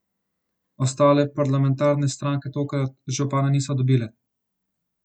Ostale parlamentarne stranke tokrat župana niso dobile.